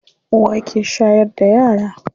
Uwa ke shayar da yara.